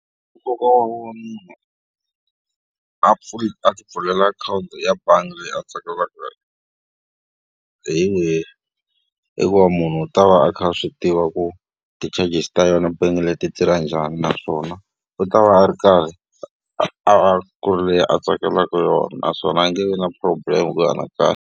Nkoka wo va munhu a a ti pfulela akhawunti ya bangi leyi a tsakaka hi wihi? I ku va munhu u ta va a kha a swi tiva ku ti-charges ta yona bank leyi ti ra njhani. Naswona u ta va a ri karhi a a ku ri leyi a tsakelaka yona, naswona a nge vi na problem .